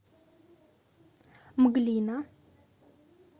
мглина